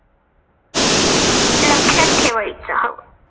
लक्षात ठेवायचं हो.